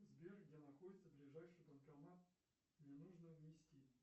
сбер где находится ближайший банкомат мне нужно внести